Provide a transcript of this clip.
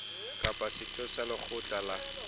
kapa setho sa lekgotla la